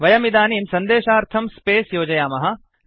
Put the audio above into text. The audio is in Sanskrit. वयमिदानीं सन्देशार्थं स्पेस् योजयामः